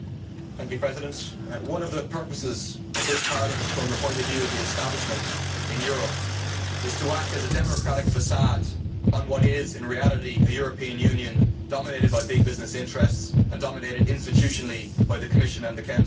Mr President, one of the purposes of this Parliament from the point of view of the establishment in Europe is to act as a democratic facade on what is in reality a European Union dominated by big business interests and dominated institutionally by the Commission and the Council.